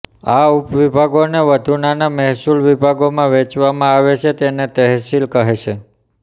આ ઉપવિભાગોને વધુ નાના મહેસૂલ વિભાગોમાં વહેંચવામાં આવે છે તેને તહેસિલ કહે છે